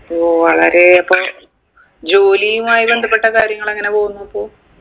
ഓ വളരെ അപ്പൊ ജോലിയുമായി ബന്ധപ്പെട്ട കാര്യങ്ങളെങ്ങനെ പോകുന്നു അപ്പൊ